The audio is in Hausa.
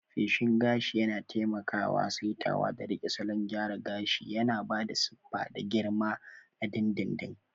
Feshin gashi yana taimakawa saitawa da riƙe salon gyara gashi, yana ba da siffa da girma na dindindin.